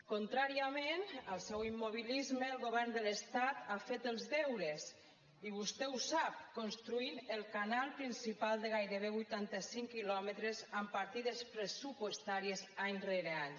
contràriament al seu immobilisme el govern de l’estat ha fet els deures i vostè ho sap construint el canal principal de gairebé vuitanta cinc quilòmetres amb partides pressupostàries any rere any